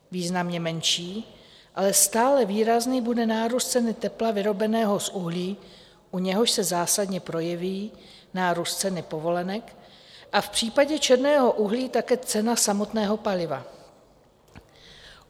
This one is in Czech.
Významně menší, ale stále výrazný bude nárůst ceny tepla vyrobeného z uhlí, u něhož se zásadně projeví nárůst ceny povolenek, a v případě černého uhlí také cena samotného paliva.